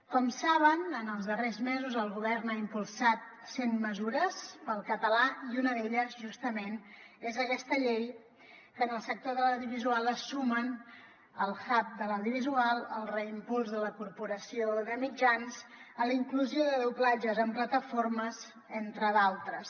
com saben en els darrers mesos el govern ha impulsat cent mesures pel català i una d’elles justament és aquesta llei que en el sector de l’audiovisual es sumen al hubmitjans a la inclusió de doblatges en plataformes entre d’altres